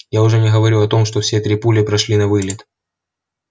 я уже не говорю о том что все три пули прошли навылет